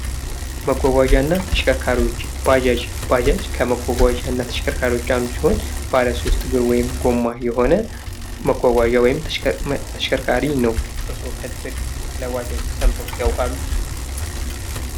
መጓጓዣ እና ተሽከርካሪዎች ባጃጅ ባጃጅ ከመጓጓዣ እና ተሽከርካሪዎች አንዱ ሲሆን ባለሶስት እግር ወይም ጎማ የሆነ መጓጓዣ ወይም ተሽከርካሪ ነው ።እርስዎ ከዚህ በፊት ስለ ባጃጅ ሰምተው ያዉቃሉ ?